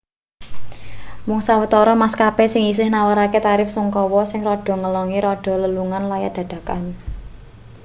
mung sawetara maskapai sing isih nawarake tarif sungkawa sing rada ngelongi rega lelungan layat dadakan